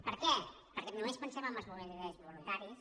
per què perquè només pensem en els bombers voluntaris